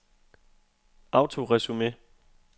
autoresume